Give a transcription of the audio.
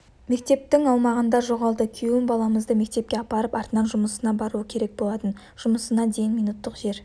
мектептің аумағында жоғалды күйеуім баламызды мектепке апарып артынан жұмысына баруы керек болатын жұмысына дейін минуттық жер